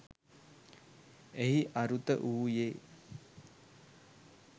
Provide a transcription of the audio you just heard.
එහි අරුත වූයේ